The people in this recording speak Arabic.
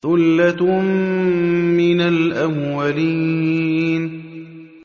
ثُلَّةٌ مِّنَ الْأَوَّلِينَ